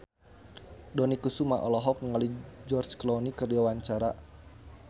Dony Kesuma olohok ningali George Clooney keur diwawancara